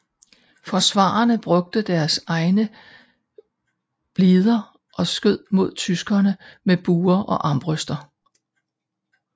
Forsvarerne brugte deres egne blider og skød mod tyskerne med buer og armbrøster